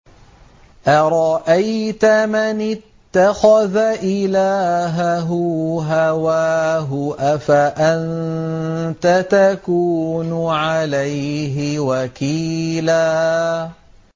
أَرَأَيْتَ مَنِ اتَّخَذَ إِلَٰهَهُ هَوَاهُ أَفَأَنتَ تَكُونُ عَلَيْهِ وَكِيلًا